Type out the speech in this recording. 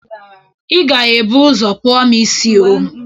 Ị ga-ebu ụzọ kpụọ m isi oo!